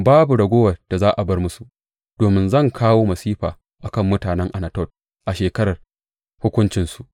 Babu raguwar da za a bar musu, domin zan kawo masifa a kan mutanen Anatot a shekarar hukuncinsu.